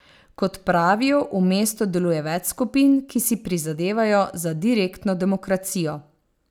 Kot pravijo, v mestu deluje več skupin, ki si prizadevajo za direktno demokracijo.